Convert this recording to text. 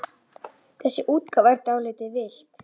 Þessi útgáfa er dálítið villt.